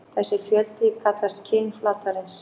Þessi fjöldi kallast kyn flatarins.